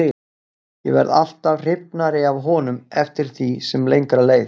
Ég varð alltaf hrifnari af honum eftir því sem lengra leið.